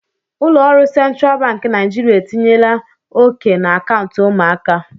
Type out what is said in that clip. Ụlọ ọrụ Central Bank Naijiria etinyela oke na akaụntụ ụmụaka.